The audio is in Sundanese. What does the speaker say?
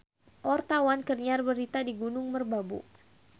Wartawan keur nyiar berita di Gunung Merbabu